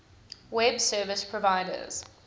web service providers